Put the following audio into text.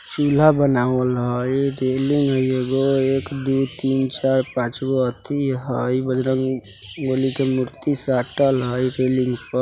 चुल्हा बनावल हई रेलिंग हई एगो एक दू तीन चार पाँच गो अथी हई बजरंग बली के मूर्ति साटल हई रेलिंग प --